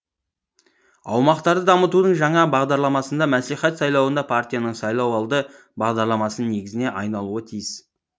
аумақтарды дамытудың жаңа бағдарламасында мәслихат сайлауында партияның сайлауалды бағдарламасының негізіне айналуы тиіс